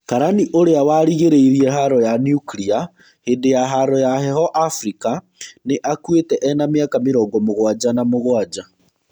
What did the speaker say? Karani ũrĩa warigĩrĩirĩe haro ya nukirĩa hĩndĩ ya haro ya heho Abirika nĩ akuĩte ena mĩaka mĩrongo mugwanja na mũgwanja.